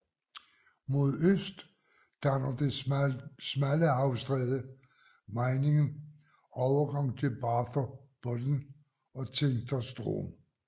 Mod øst danner det smalle havstræde Meiningen overgangen til Barther Bodden og Zingster Strom